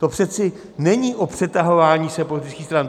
To přece není o přetahování se politických stran.